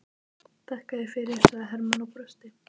Þakka þér fyrir, sagði Hermann og brosti.